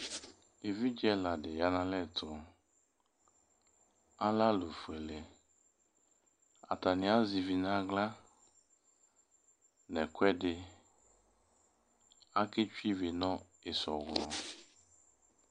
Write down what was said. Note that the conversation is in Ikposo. Evidze ɛla dɩ ya nʋ alɛ tʋ Alɛ alʋfuele Atanɩ azɛ ivi nʋ aɣla nʋ ɛkʋɛdɩ Aketsue ivi nʋ ɩsɔɣlɔ